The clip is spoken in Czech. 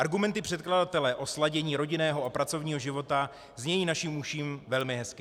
Argumenty předkladatele o sladění rodinného a pracovního života znějí naším uším velmi hezky.